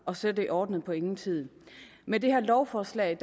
og så er det ordnet på ingen tid med det her lovforslag